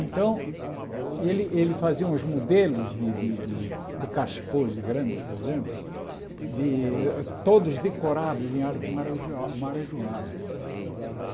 Então, ele ele fazia uns modelos de de de de cachepôs grandes, por exemplo, todos decorados em arte maraja marajoara. Está